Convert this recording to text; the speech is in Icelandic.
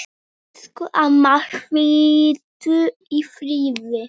Elsku amma, hvíldu í friði.